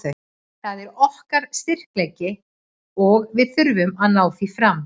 Það er okkar styrkleiki og við þurfum að ná því fram.